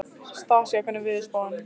Stasía, hvernig er veðurspáin?